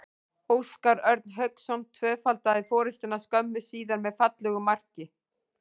Óskar Örn Hauksson tvöfaldaði forystuna skömmu síðar með fallegu marki.